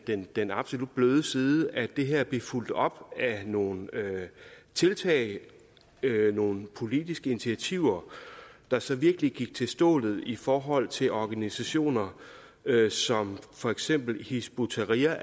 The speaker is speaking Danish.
den den absolut bløde side at det her bliver fulgt op af nogle tiltag nogle politiske initiativer der så virkelig gik til stålet i forhold til organisationer som for eksempel hizb ut tahrir